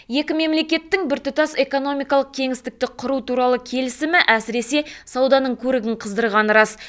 екі мемлекеттің біртұтас экономикалық кеңістікті құру туралы келісімі әсіресе сауданың көрігін қыздырғаны рас